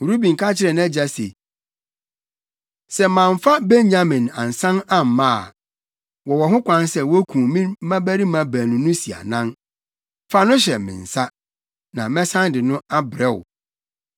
Ruben ka kyerɛɛ nʼagya se, “Sɛ mamfa Benyamin ansan amma a, wowɔ ho kwan sɛ wukum me mmabarima baanu no si anan. Fa no hyɛ me nsa, na mɛsan de no abrɛ wo.”